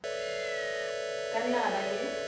ka nna a ba le